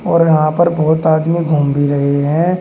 और यहां पर बहोत आदमी घूम भी रहे हैं।